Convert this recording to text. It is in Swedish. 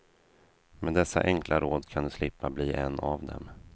Med dessa enkla råd kan du slippa bli en av dem.